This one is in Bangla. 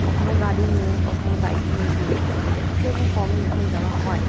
কখনো গাড়ি নিয়ে কখনো বাইক নিয়ে ডিরেক্ট চলে যাই। ট্রেন -এ কমই এখন যাওয়া হয় ।